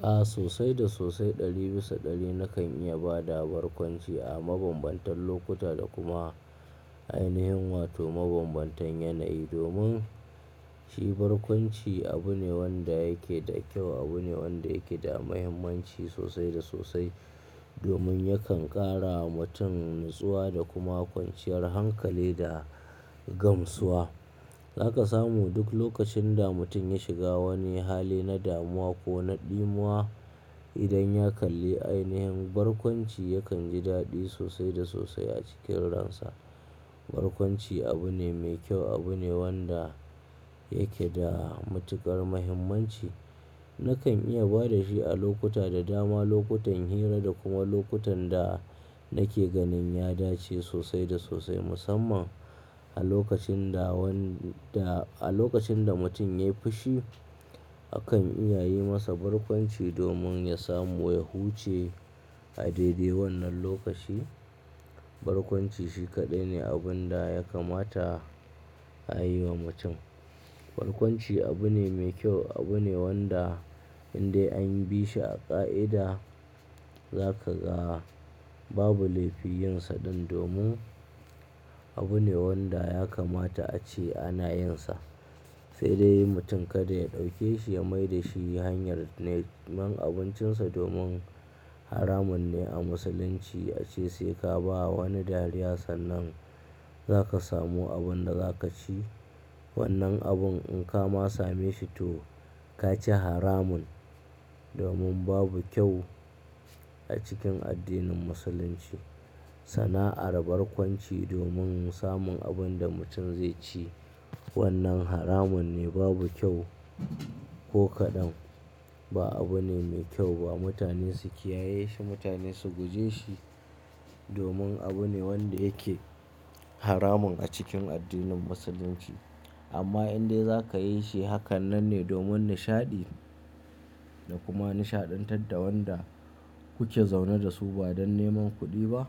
A sosai da sosai ɗari bisa ɗari nakan iya ba da barkwanci a mabambantan lokuta da kuma ainihin wato mabambantan yanayi. Domin shi barkwanci abu ne wanda yake da kyau, abu ne wanda yake da muhimmanci sosai da sosai. Domin yakan ƙara wa mutum natsuwa da kuma kwanciyar hankali da gamsuwa. Zaka samu duk lokacin da mutum ya shiga wani hali na damuwa ko na ɗimuwa. Idan ya kalli ainihin barkwanci, yakan ji daɗi sosai da sosai a cikin ransa. Barkwanci abu ne mai kyau, abu ne wanda yake da matuƙar muhimmanci. Nakan iya ba da shi a lokuta da dama, lokutan hira da kuma lokutan da nake ganin ya dace sosai da sosai. Musamman a lokacin da wanda a lokacin da mutum ya yi fushi, akan iya yi masa barkwanci domin ya samu ya huce a daidai wannan lokaci. Barkwanci shi kaɗai ne abun da ya kamata a yi wa mutum. Barkwanci abu ne mai kyau, abu ne wanda in dai an bi shi a ƙa'ida, zaka ga babu laifi yinsa dan domin abu ne wanda ya kamata a ce ana yinsa. Sai dai mutum kada ya ɗauke shi ya mai da shi hanyar neman abincinsa. Domin haramun ne a musulunci ace sai ka ba wani dariya sannan zaka samu abin da za ka ci. Wannan abun in ka ma same shi to ka ci haramun. Domin babu kyau a cikin addinin musulunci sana'ar barkwanci domin samun abin da mutum zai ci. Wannan haramun ne, babu kyau ko kaɗan. Ba abu ne mai kyau ba. Mutane su kiyaye shi, mutane su guje shi domin abu ne wanda yake haramun a cikin addinin musulunci. Amma in dai za ka yi shi, haka nan ne domin nishaɗi da kuma nishaɗantar da wanda kuke zaune da su ba don neman kuɗi ba.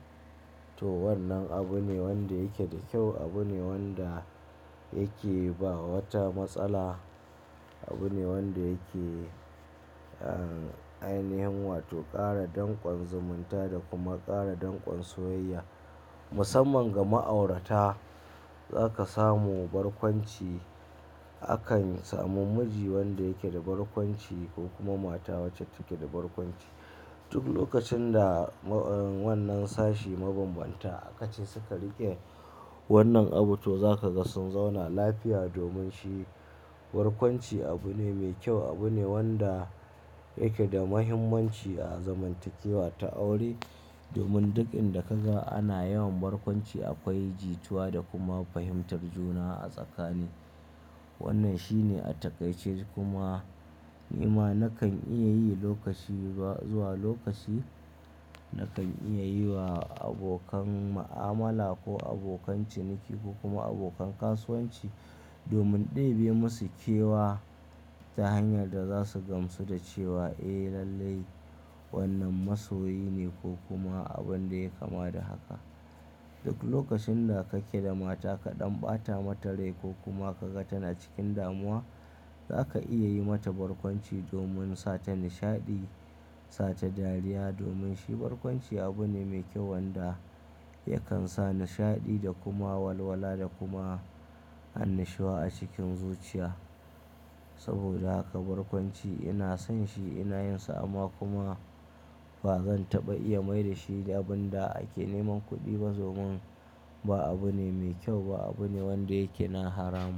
To wannan abu ne wanda yake da kyau, abu ne wanda yake ba wata matsala. Abu ne wanda yake an, ainihin wato ƙara dankon zumunta da kuma ƙara dankon soyayya musamman ga ma'aurata. Zaka samu barkwanci. Akan samu miji wanda yake da barkwanci ko kuma mata wacce take da barkwanci. Duk lokacin da wannan sashi mabambanta akacin suka riƙe wannan abu, to za ka ga sun zauna lafiya. Domin shi barkwanci abu ne mai kyau, abu ne wanda yake da muhimmanci a zamantakewa ta aure. Domin duk inda ka ga ana yawan barkwanci akwai jituwa da kuma fahimtar juna a tsakani. Wannan shi ne a takaice kuma ni ma nakan iya yi lokaci ba zuwa lokaci. Nakan iya yi wa abokan ma'amala ko abokan ciniki ko kuma abokan kasuwanci domin ɗebe masu kewa ta hanyar da za su gamsu da cewa eh lallai wannan masoyi ne ko kuma abinda ya kama da haka. Duk lokacin da kake da mata ka ɗan ɓata mata rai ko kuma ka ga tana cikin damuwa, za ka iya yi mata barkwanci domin sa ta nishaɗi, sa ta dariya. Domin shi barkwanci abu ne mai kyau wanda yakan sa nishaɗi da kuma walwala da kuma annashuwa a cikin zuciya. Saboda haka barkwanci ina son shi ina yin sa amma kuma ba zan taɓa iya mai da shi abun da ake neman kuɗi ba. Domin ba abu ne mai kyau ba, abu ne wanda yake na haramun.